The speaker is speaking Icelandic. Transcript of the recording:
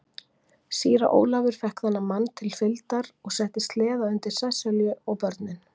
Síra Ólafur fékk þeim mann til fylgdar og setti sleða undir Sesselju og börnin.